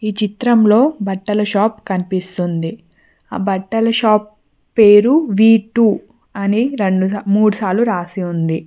ఈ చిత్రంలో బట్టల షాప్ కనిపిస్తుంది ఆ బట్టల షాప్ పేరు వీ_టూ అని రెండు మూడు సార్లు రాసి ఉంది.